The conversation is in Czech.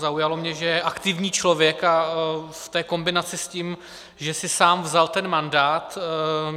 Zaujalo mě, že je aktivní člověk, a v té kombinaci s tím, že si sám vzal ten mandát.